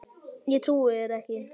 Ég trúi þér